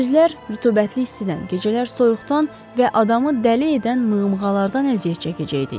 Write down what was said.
Gündüzlər rütubətli istidən, gecələr soyuqdan və adamı dəli edən mığmığalardan əziyyət çəkəcəkdik.